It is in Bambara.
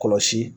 Kɔlɔsi